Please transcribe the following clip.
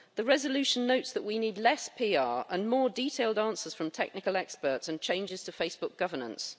The resolution notes that we need less PR and more detailed answers from technical experts and changes to Facebook governance.